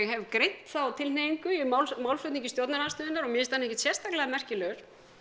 hef greint þá tilhneigingu í málflutningi stjórnarandstöðunnar og mér finnst hann ekkert sérstaklega merkilegur